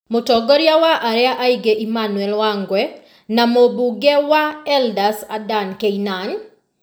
Mũtongoria wa arĩa aingĩ Emmanuel Wangwe na mũmbunge wa Eldas Adan Keynan ,